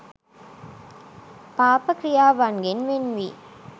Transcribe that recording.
පාප ක්‍රියාවන්ගෙන් වෙන් වී